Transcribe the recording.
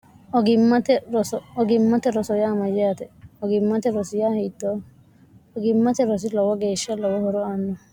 ogimmate rosoya amayyaate ogimmate rosiya hiitoo logimmate rosi lowo geeshsha lowo horo aanno